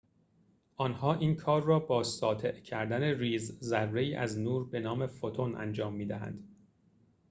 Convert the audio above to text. آنها این کار را با ساطع کردن ریزذره‌ای از نور به نام فوتون انجام می‌دهند